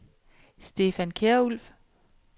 Stefan Kjærulff